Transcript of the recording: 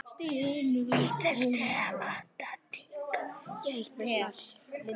Ég tel.